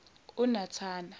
unathana